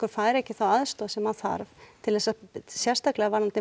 fær ekki þá aðstoð sem hann þarf til þess að sérstaklega varðandi